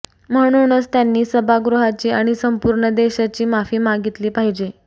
म्हणूनच त्यांनी सभागृहाची आणि संपूर्ण देशाची माफी मागितली पाहिजे